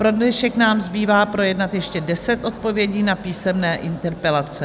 Pro dnešek nám zbývá projednat ještě deset odpovědí na písemné interpelace.